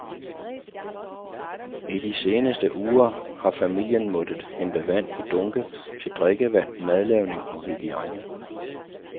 I de seneste uger har familien måttet hente vand i dunke til drikkevand, madlavning og hygiejne.